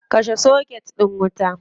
Kashe soket din wuta.